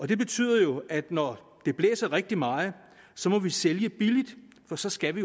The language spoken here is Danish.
det betyder jo at når det blæser rigtig meget må vi sælge billigt for så skal vi